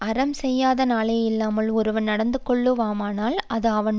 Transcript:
அறம் செய்யாத நாளே இல்லாமல் ஒருவன் நடந்துகொள்ளுவானானால் அது அவன்